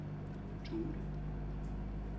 Thule